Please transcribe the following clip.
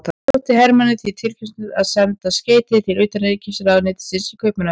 Þótti Hermanni því tilhlýðilegt að senda skeyti til utanríkisráðuneytisins í Kaupmannahöfn.